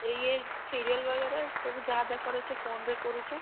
ୟେ serial बगेराह ସବୁ ଯାହା ଦେଖ୍ ବାର୍ ଅଛେ phone ରେ କରୁଛୁଁ।